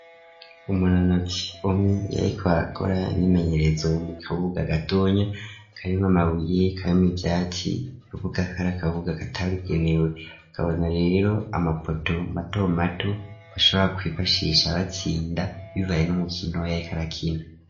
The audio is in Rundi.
Umunonotsi ,umwe yarikora akora imyimenyerezo mu kibuga, gatonya karimw' amabuye karimw'I vyatsi kavuga kari kabuga katabigenewe, kabona rero amapoto mato mato ,ashobora kwifashisha abatsinda bivaye n'umukino yarikarakina.